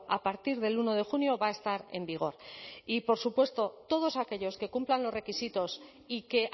a partir del uno de junio va a estar en vigor y por supuesto todos aquellos que cumplan los requisitos y que